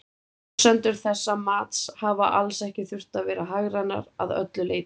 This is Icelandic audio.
Forsendur þessa mats hafa alls ekki þurft að vera hagrænar að öllu leyti.